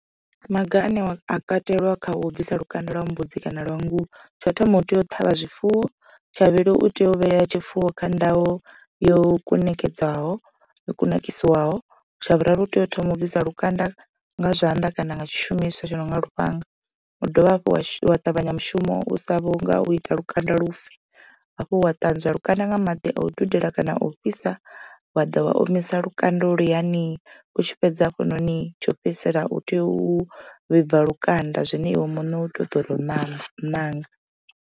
Maga ane a kateliwa kha u bvisa lukanda lwa mbudzi kana lwa nngu tsho thoma u tea u ṱhavha zwifuwo. Tsha vhuvhili u tea u vhea tshifuwo kha ndayo yo kunakedzaho yo kunakisiwaho tsha vhuraru u tea u thoma u bvisa lukanda nga zwanḓa kana nga tshishumiswa tshi nonga lufhanga wa dovha hafhu wa ṱavhanya mushumo u sa vhu nga u ita lukanda lufe. Hafho wa ṱanzwa lukanda nga maḓi a u dudela kana a u fhisa wa ḓa wa omisa lukanda holwuyani u tshi fhedza hafhanoni tsho fhedzisela u tea u vhibva lukanda zwine iwe muṋe u tea u ḓo tou ṋaṋa ṋanga.